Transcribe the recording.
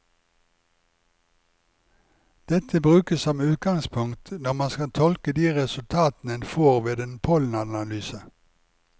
Dette brukes som utgangspunkt når man skal tolke de resultatene en får ved en pollenanalyse.